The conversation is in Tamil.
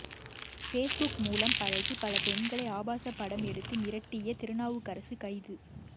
பேஸ்புக் மூலம் பழகி பல பெண்களை ஆபாச படம் எடுத்து மிரட்டிய திருநாவுக்கரசு கைது